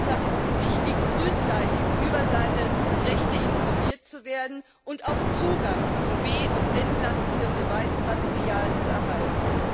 Deshalb ist es wichtig, frühzeitig über seine Rechte informiert zu werden und auch Zugang zum be und entlastenden Beweismaterial zu erhalten.